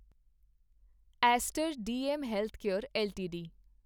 Aster DM healthcare LTD